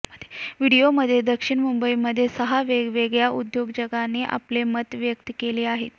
व्हिडीओमध्ये दक्षिण मुंबईमध्ये सहा वेगवेगळ्या उद्योजकांनी आपली मते व्यकत् केली आहेत